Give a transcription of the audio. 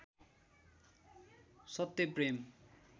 सत्य प्रेम